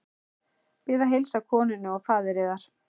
Hann hafði líka smíðað handa henni ofsalega fín gleraugnahús.